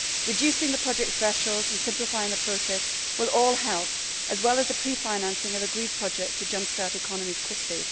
Reducing the project thresholds and simplifying the process will all help, as well as the pre financing of agreed projects to jump start economies quickly.